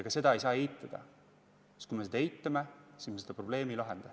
Ka seda ei saa eitada, sest kui me seda eitame, siis me seda probleemi ei lahenda.